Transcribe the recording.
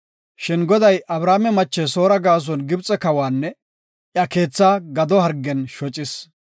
Shin Goday Abrame mache Soora gaason Gibxe kawanne iya keetha gado hargen shocis.